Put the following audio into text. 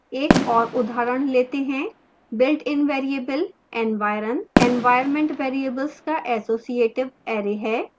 एक और उदाहरण let हैं